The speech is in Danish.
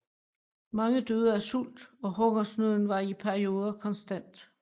Mange døde af sult og hungersnøden var i perioder konstant